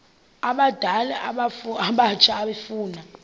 abadala abatsha efuna